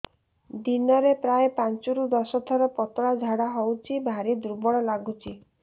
ଦିନରେ ପ୍ରାୟ ପାଞ୍ଚରୁ ଦଶ ଥର ପତଳା ଝାଡା ହଉଚି ଭାରି ଦୁର୍ବଳ ଲାଗୁଚି